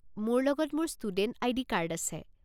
মোৰ লগত মোৰ ষ্টুডেণ্ট আইডি কাৰ্ড আছে।